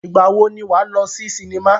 Ìgbà wo ni wà á lọ sí sinimá?